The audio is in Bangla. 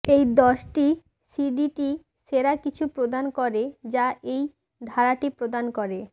এই দশটি সিডিটি সেরা কিছু প্রদান করে যা এই ধারাটি প্রদান করে